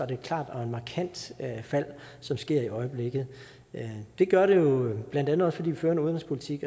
det et klart og markant fald som sker i øjeblikket det gør det jo blandt andet også fordi vi fører en udenrigspolitik